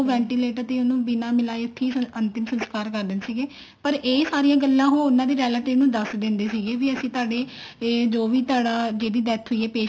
ventilator ਤੇ ਉਹਨੂੰ ਬਿਨਾ ਮਿਲਾਏ ਉੱਥੀ ਅੰਤਿਮ ਸੰਸਕਾਰ ਕਰ ਦਿੰਦੇ ਸੀਗੇ ਪਰ ਇਹ ਸਾਰੀਆਂ ਗੱਲਾਂ ਉਹ ਉਹਨਾ ਦੇ relative ਨੂੰ ਦੱਸ ਦਿੰਦੇ ਸੀਗੇ ਅਸੀਂ ਤੁਹਾਡੇ ਇਹ ਵੀ ਜੋ ਵੀ ਤੁਹਾਡਾ ਜਿਹਦੀ death ਹੋਈ ਆ patient